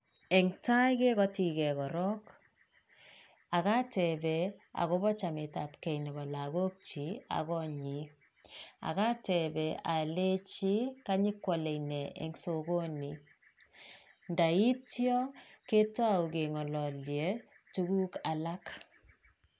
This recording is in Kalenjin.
En tai kegotii gee korong ak atepen akopo chametap gee nebo lokok chiik ak konyin ak atepen olenji konyokwole nee en sokonii, indo ityoo ketou kengololyee tukuk alak.